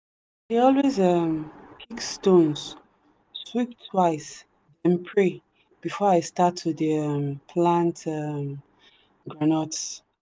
i dey always um pick stones sweep twice then pray before i start to dey um plant um groundnuts.